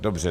Dobře.